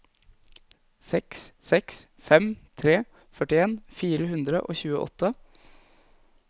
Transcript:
seks seks fem tre førtien fire hundre og tjueåtte